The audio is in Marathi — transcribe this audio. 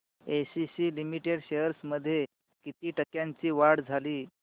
एसीसी लिमिटेड शेअर्स मध्ये किती टक्क्यांची वाढ झाली